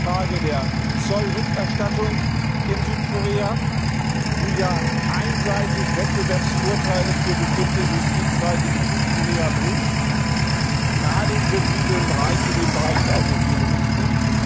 B. die Frage der Zollrückerstattung in Südkorea, die ja einseitig Wettbewerbsvorteile für bestimmte Industriezweige in Südkorea bringt, gerade in sensiblen Bereichen wie im Bereich der Automobilindustrie.